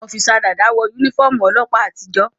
Ọ́físà Dàda n wọ yúnífọ́ọ̀mù ọlọ́ọ̀pá àtijó